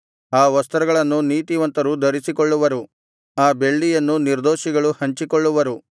ಆ ವಸ್ತ್ರಗಳನ್ನು ನೀತಿವಂತರು ಧರಿಸಿಕೊಳ್ಳುವರು ಆ ಬೆಳ್ಳಿಯನ್ನು ನಿರ್ದೋಷಿಗಳು ಹಂಚಿಕೊಳ್ಳುವರು